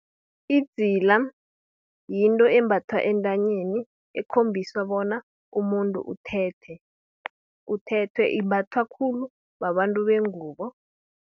Idzila, yinto embathwa entanyeni, ekhombisa bona umuntu uthethwe imbathwa khulu, babantu bengubo.